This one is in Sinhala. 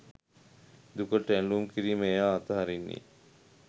දුකට ඇලූම් කිරීම එයා අතහරින්නේ